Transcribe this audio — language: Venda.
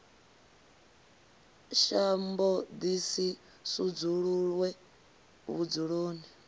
shambo ḓi si sudzuluwe vhudzuloni